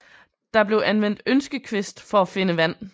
Der blev anvendt ønskekvist for at finde vand